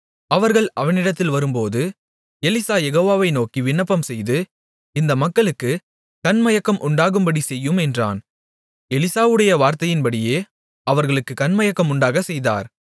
அவர்கள் அவனிடத்தில் வரும்போது எலிசா யெகோவாவை நோக்கி விண்ணப்பம்செய்து இந்த மக்களுக்குக் கண்மயக்கம் உண்டாகும்படிச் செய்யும் என்றான் எலிசாவுடைய வார்த்தையின்படியே அவர்களுக்குக் கண்மயக்கம் உண்டாகச் செய்தார்